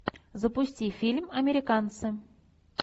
запусти фильм американцы